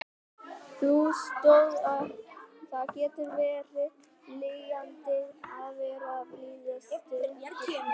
Það getur verið lýjandi að vera á biðlista eftir flugi.